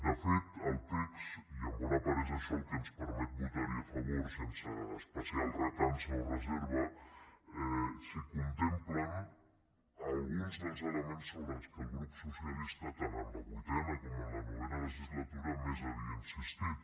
de fet al text i en bona part és això el que ens permet votar hi a favor sense especial recança o reserva s’hi contemplen alguns dels elements sobre els quals el grup socialista tant en la vuitena com en la novena legislatura més havia insistit